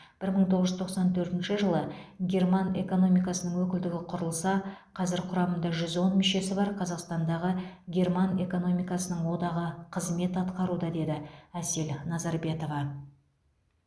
бір мың тоғыз жүз тоқсан төртінші жылы герман экономикасының өкілдігі құрылса қазір құрамында жүз он мүшесі бар қазақтандағы герман экономикасының одағы қызмет атқаруда деді әсел назарбетова